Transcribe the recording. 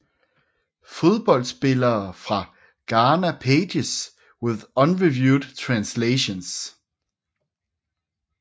Fodboldspillere fra Ghana Pages with unreviewed translations